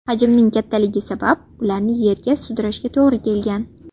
Hajmining kattaligi sabab ularni yerda sudrashga to‘g‘ri kelgan.